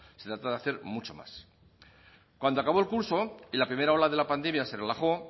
se trata de hacer mucho más cuando acabó el curso y la primera ola de la pandemia se relajó